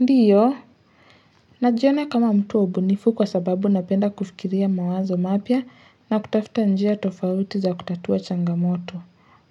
Ndiyo. Najiona kama mtu wa ubunifu kwasababu napenda kufikiria mawazo mapya na kutafuta njia tofauti za kutatua changamoto.